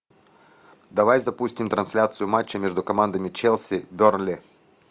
давай запустим трансляцию матча между командами челси бернли